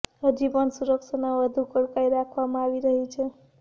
હજી પણ સુરક્ષાના વધુ કડકાઈ રાખવામાં આવી રહી છે